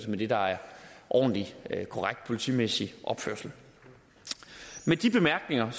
med det der er ordentlig korrekt politimæssig opførsel med de bemærkninger